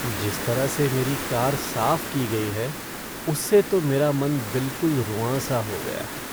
जिस तरह से मेरी कार साफ की गई है उससे तो मेरा मन बिलकुल रुआँसा हो गया है।